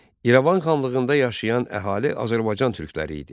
İrəvan xanlığında yaşayan əhali Azərbaycan türkləri idi.